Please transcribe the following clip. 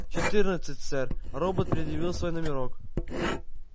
четырнадцать сэр робот предъявил свой номерок